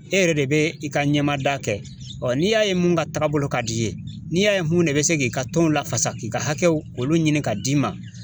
E yɛrɛ de bɛ i ka ɲɛmada kɛ, ɔ n'i y'a ye mun ka taaga bolo ka d'i ye, n'i y'a ye mun de bɛ se k'i ka tɔn lafasa k'i ka hakɛw olu ɲini k'a d'i ma.